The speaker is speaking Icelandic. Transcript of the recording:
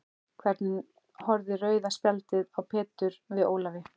Hvernig horfði rauða spjaldið á Pétur við Ólafi?